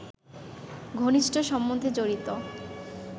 ঘনিষ্ঠ সম্বন্ধে জড়িত